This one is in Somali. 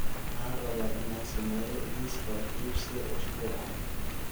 Waxaan rabaa inaan sameeyo liiska wax iibsiga usbuucan